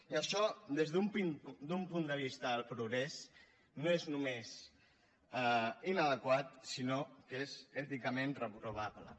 i això des d’un punt de vista del progrés no és només inadequat sinó que és èticament reprovable